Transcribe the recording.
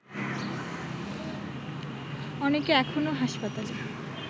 অনেকে এখনো হাসপাতালে